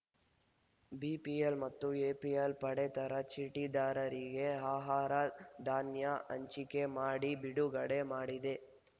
BPL ಮತ್ತು APL ಪಡಿತರ ಚೀಟಿದಾರರಿಗೆ ಆಹಾರಧಾನ್ಯ ಹಂಚಿಕೆ ಮಾಡಿ ಬಿಡುಗಡೆ ಮಾಡಿದೆ